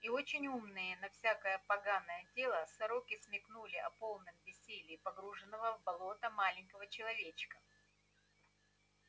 и очень умные на всякое поганое дело сороки смекнули о полном бессилии погруженного в болото маленького человечка